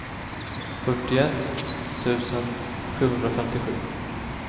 fyrtioett tusen sjuhundrafemtiosju